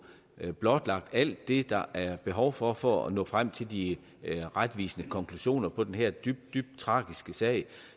blotlagt alt det der er behov for for at nå frem til de retvisende konklusioner på den her dybt dybt tragiske sag